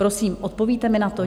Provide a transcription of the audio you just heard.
Prosím, odpovíte mi na to?